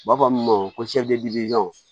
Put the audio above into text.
U b'a fɔ min ma ko